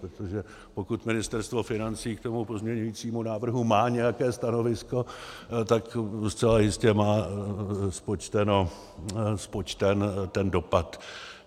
Protože pokud Ministerstvo financí k tomu pozměňovacímu návrhu má nějaké stanovisko, tak zcela jistě má spočten ten dopad.